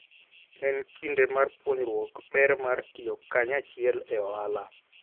En kinde mar puonjruok ber mar tiyo kanyachiel e ohala.